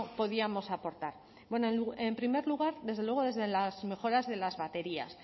podríamos aportar en primer lugar desde luego desde las mejoras de las baterías